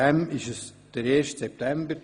Deshalb ist es der 1. September.